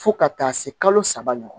Fo ka taa se kalo saba ɲɔgɔnna ma